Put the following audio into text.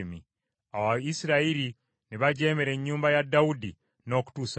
Awo Isirayiri ne bajeemera ennyumba ya Dawudi n’okutuusa leero.